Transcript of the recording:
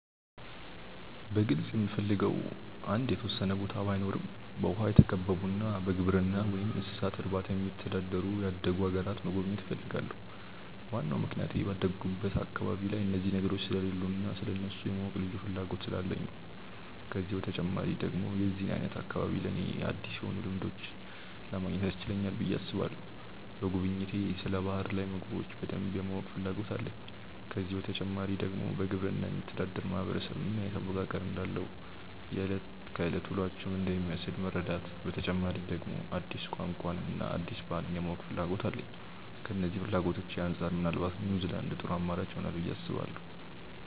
በግልጽ የምፈልገው አንድ የተወሰነ ቦታ ባይኖረም በውሃ የተከበቡና በግብርና ወይም እንስሳት እርባታ የሚተዳደሩ ያደጉ አገራትን መጎብኘት እፈልጋለሁ። ዋናው ምክንያቴ ባደኩበት አካባቢ ላይ እነዚህ ነገሮች ስለሌሉ እና ስለእነሱ የማወቅ ልዩ ፍላጎት ስላለኝ ነው። ከዚህ በተጨማሪ ደግሞ የዚህ አይነት አካባቢ ለኔ አዲስ የሆኑ ልምዶችን ለማግኘት ያስችለናል ብዬ አስባለሁ። በጉብኝቴ ስለ ባህር ላይ ምግቦች በደንብ የማወቅ ፍላጎት አለኝ። ከዚህ በተጨማሪ ደግሞ በግብርና የሚተዳደር ማህበረሰብ ምን አይነት አወቃቀር እንዳለው፣ የእለት ከእለት ውሎአቸው ምን እንደሚመስል መረዳት፤ በተጨማሪ ደግሞ አዲስ ቋንቋን እና አዲስ ባህልን የማወቅና ፍላጎት አለኝ። ከነዚህ ፍላጎቶቼ አንጻር ምናልባት ኒውዝላንድ ጥሩ አማራጭ ይሆናል ብዬ አስባለሁ።